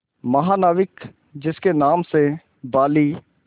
महानाविक जिसके नाम से बाली